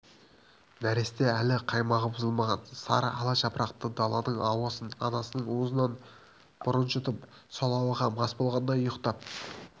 нәресте әлі қаймағы бұзылмаған сары ала жапырақты даланың ауасын анасының уызынан бұрын жұтып сол ауаға мас болғандай ұйықтап